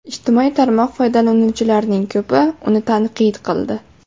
Ijtimoiy tarmoq foydalanuvchilarining ko‘pi uni tanqid qildi.